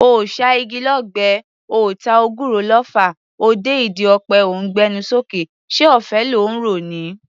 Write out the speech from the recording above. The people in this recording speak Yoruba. Oò ṣá igi lọ́gbẹ́, oò ta ògùrọ̀ lọfà, o dé ìdí ọ̀pẹ o ńgbé ẹnu sókè; ṣé ọ̀fẹ́ ló ńro ni?